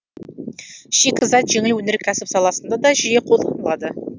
шикізат жеңіл өнеркәсіп саласында да жиі қолданылады